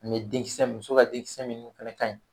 Ani denkisɛ muso ka denkisɛ min fɛnɛ kaɲi